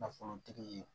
Nafolotigi ye